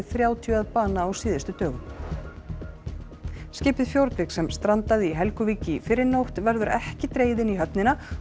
þrjátíu að bana á síðustu dögum skipið Fjordvik sem strandaði í Helguvík í fyrrinótt verður ekki dregið inn í höfnina